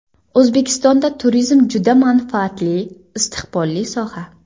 O‘zbekistonda turizm juda manfaatli, istiqbolli soha.